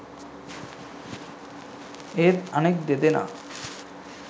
එහෙත් අනෙක් දෙදෙනා